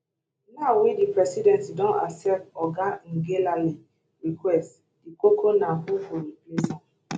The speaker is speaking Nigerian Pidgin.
now wey di presidency don accept oga ngelale request di koko na who go replace am